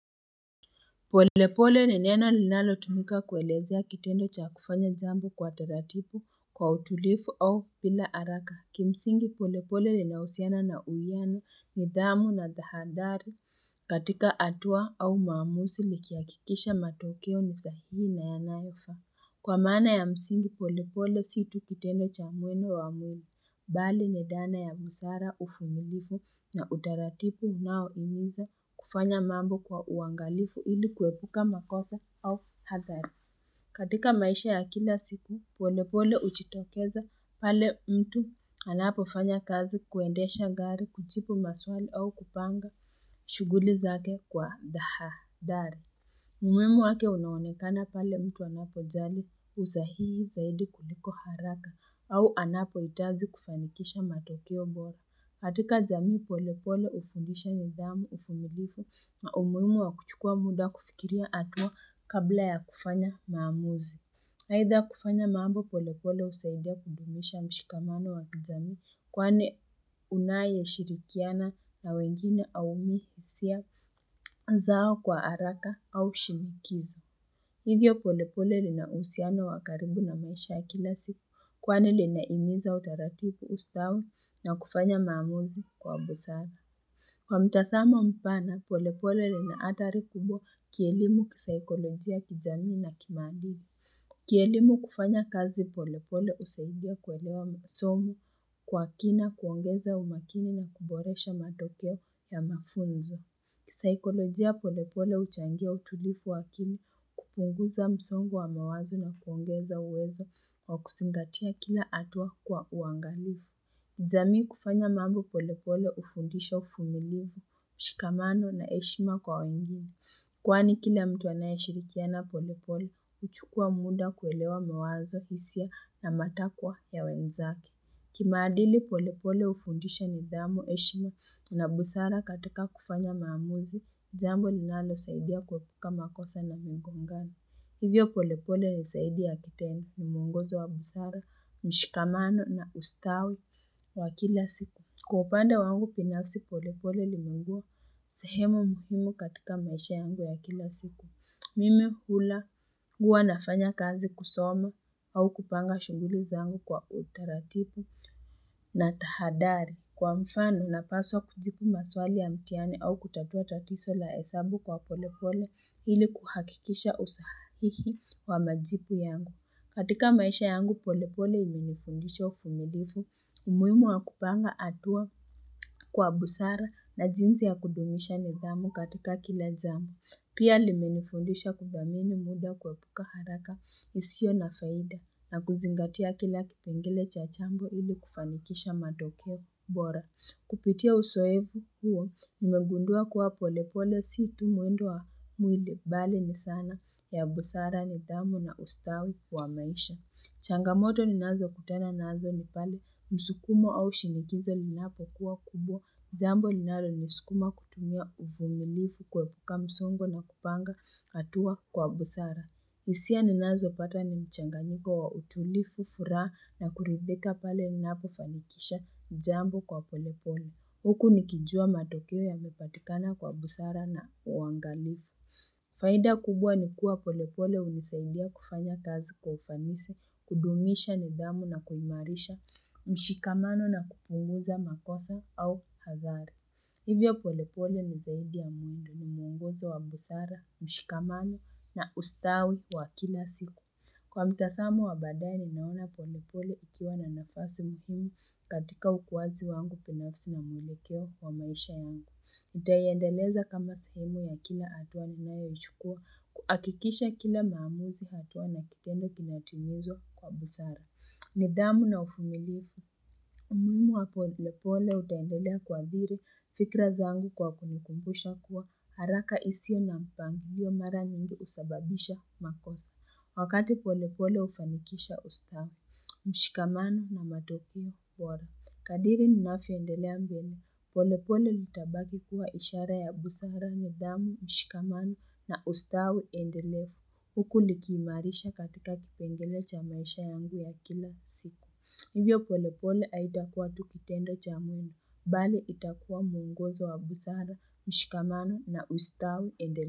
Polepole ni nena linalotumika kuelezea kitendo cha kufanya jambo kwa taratipu kwa utulifu au pila haraka. Kimsingi polepole ni yanahusiana na uyano, nidhamu na dhahadhari katika hatua au mamusi nikiakikisha matokeo ni sahihi na yanyofaa. Kwa maana msingi pole pole si tu kitendo cha mwene wa mwene, bali ni dhana ya busara ufumilifu na utaratipu unao himiza kufanya mambo kwa uangalifu ili kuepuka makosa au hadhari. Katika maisha ya kila siku, pole pole uchitokeza pale mtu anapofanya kazi kuendesha gari, kuchipu maswali au kupanga, shughuli zake kwa dhaha dhari. Muhimu wake unaonekana pale mtu anapojali usahihi zaidi kuliko haraka au anapohitaji kufanikisha matokeo bora. Katika jamii pole pole hufundisha nidhamu, ufumilifu na umuhimu wa kuchukua muda kufikiria hatua kabla ya kufanya maamuzi. Eitha kufanya mambo polepole husaidia kudumisha mshikamano wa kijamii kwane unayeshirikiana na wengine haumii hisia zao kwa haraka au shimikizo. Hivyo polepole lina usiano wa karibu na maisha ya kila siku kwani linaihimiza utaratipu ustawi na kufanya maamuzi kwa busara. Kwa mtazamo mpana polepole lina adhari kubwa kielimu, kisaikolojia, kijamii na kimadili. Kielimu kufanya kazi polepole usaidia kuelewa masomo kwa kina kuongeza umakini na kuboresha matokeo ya mafunzo. Saikolojia polepole huchangia utulifu waakili kupunguza msongo wa mawazo na kuongeza uwezo wa kusingatia kila atua kwa uangalifu. Jamii kufanya mambo polepole hufundisha ufumilifu, mshikamano na heshima kwa wengine. Kwani kila mtu anayeshirikiana polepole, huchukua muda kuelewa mawazo hisia na matakwa ya wenzake. Kimaadili polepole hufundisha nidhamu, heshima na busara katika kufanya maamuzi, jambo linanosaidia kuepuka makosa na mingongano. Hivyo polepole ni zaidi ya kitendo ni mwongozo wa busara, mshikamano na ustawi wa kila siku. Kwa upande wangu pinafsi polepole limengua sehemu muhimu katika maisha yangu ya kila siku. Mimi hula, huwa nafanya kazi kusoma au kupanga shughuli zangu kwa utaratipu na tahadari. Kwa mfano, napaswa kujipu maswali ya mtihani au kutatua tatiso la hesabu kwa polepole ili kuhakikisha usahihi wa majipu yangu. Katika maisha yangu pole pole imenifundisha ufumilifu, umuhimu wakupanga atua kwa busara na jinzi ya kudumisha nidhamu katika kila jamu. Pia lime nifundisha kudhamini muda kuepuka haraka isio na faida na kuzingatia kila kipengele cha chambo ili kufanikisha matokeo bora. Kupitia usoefu huo nimegundua kuwa pole pole si tu mwendo wa mwili bali ni sana ya busara nidhamu na ustawi wa maisha. Changamoto ninazo kutana nazo ni pale msukumo au shinikinzo linapo kuwa kubwa. Jambo linalo nisukuma kutumia ufumilifu kwepuka msongo na kupanga hatua kwa busara. Hisia ninazopata ni mchanganyiko wa utulifu, furaa na kuridhika pale ninapofanikisha jambo kwa polepole. Huku nikijua matokeo yanapatikana kwa busara na uangalifu. Faida kubwa ni kuwa polepole hunisaidia kufanya kazi kwa ufanisi, kudumisha nidhamu na kuimarisha, mshikamano na kupunguza makosa au hadhari. Hivyo pole pole ni zaidi ya mwindo ni mwonguzo wa busara, mshikamano na ustawi wa kila siku. Kwa mtasamo wa badae nimeona pole pole ukiwa na nafasi muhimu katika ukuwazi wangu pinafsi na mwelekeo wa maisha yangu. Nitaiendeleza kama sehemu ya kila hatua ninaeyoichukua kuhakikisha kila maamuzi hatua na kikendo kinatimizwa kwa busara. Nidhamu na ufumilifu. Muhimu wa pole pole utandelea kuadhiri fikra zangu kwa kunikumbusha kuwa haraka isio na mpangilio mara nyingi husababisha makosa. Wakati pole pole ufanikisha usta, mshikamano na matoku wara. Kadiri ninafyoendelea mbemu, polepole nitabaki kuwa ishara ya busara nidhamu, mshikamano na ustawi endelefu, huku ni kiimarisha katika kipengele cha maisha yangu ya kila siku. Hivyo polepole aitakuwa tukitendo cha mwemu, bali itakuwa mwongozo wa busara, mshikamano na ustawi endele.